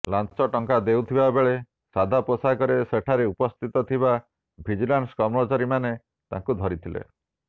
ଲାଞ୍ଚ ଟଙ୍କା ଦେଉଥିବା ବେଳେ ସାଦା ପୋଷାକରେ ସେଠାରେ ଉପସ୍ଥିତ ଥିବା ଭିଜିଲାନ୍ସ କର୍ମଚାରୀମାନେ ତାଙ୍କୁ ଧରିଥିଲେ